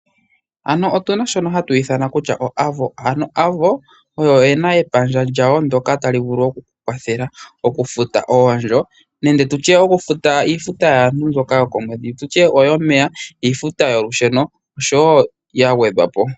Ano otuna shono hatu ithana kutya oAvo. Ano Avo oyo ye na epandja lyawo ndyoka ta li vulu oku ku kwathela okufuta oondjo nenge tutye okufuta iifuta yaantu mbyoka yokomwedhi tutye oyomeya, iifuta yolusheno osho wo yilwe ya gwedhwa po.